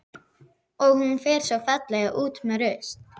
Og hún fer svo fallega út með rusl.